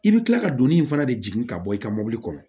I bɛ kila ka doni in fana de jigin ka bɔ i ka mobili kɔnɔ